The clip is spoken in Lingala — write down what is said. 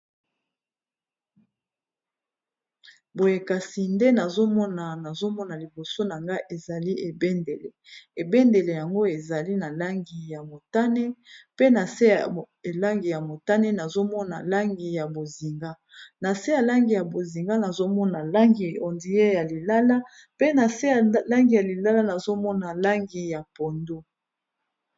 Boye kasi nde nazomona, nazomona liboso na nga ezali ebendele ebendele yango ezali na langi ya motane pe na se elangi ya motane nazomona langi ya bonzinga na se ya langi bonzinga nazomona langi ondire ya lilala pe na se ya langi ya lilala nazomona langi ya pondu.